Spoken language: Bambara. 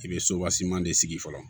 I bɛ de sigi fɔlɔ